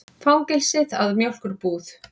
Fangelsið að mjólkurbúð.